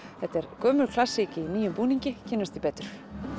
þetta er gömul klassík í nýjum búningi kynnumst því betur